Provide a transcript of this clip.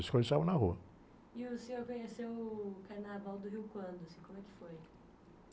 A escola ensaiava na rua. o senhor conheceu o Carnaval do Rio quando, assim, como é que foi?